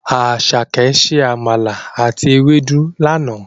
Àsàké se àmàlà àti ewédú lana.